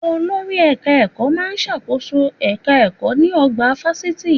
Olórí ti ẹ̀ka ẹ̀kọ́ má a ń ṣàkóso èka ẹ̀kọ́ ní ọgbà fásitì